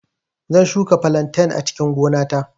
Zan shuka flantain a cikin gona ta